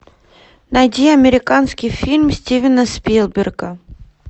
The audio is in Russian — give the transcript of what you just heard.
найди американский фильм стивена спилберга